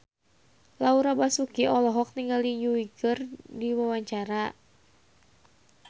Laura Basuki olohok ningali Yui keur diwawancara